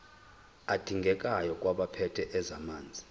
adingekayo kwabaphethe ezamanzi